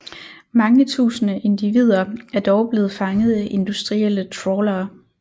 Mange tusinde individer er dog blevet fanget af industrielle trawlere